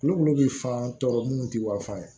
Kulukolo bɛ fan tɔɔrɔ minnu tɛ wafan ye